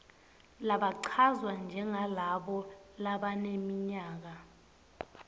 labachazwa njengalabo labaneminyaka